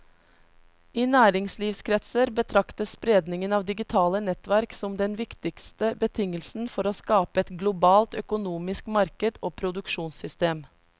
I næringslivskretser betraktes spredningen av digitale nettverk som den viktigste betingelsen for å skape et globalt økonomisk marked og produksjonssystem.